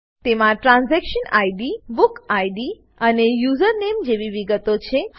તેમાં transaction ID book ID અને username જેવી વિગતો છે